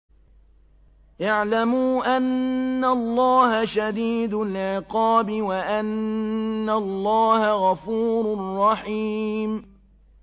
اعْلَمُوا أَنَّ اللَّهَ شَدِيدُ الْعِقَابِ وَأَنَّ اللَّهَ غَفُورٌ رَّحِيمٌ